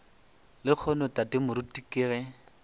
lehono tate moruti ke ge